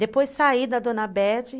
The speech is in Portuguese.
Depois saí da Dona Bete.